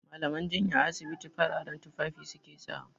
Mallaman jinya a asibiti fararen tufafi su ke sawa.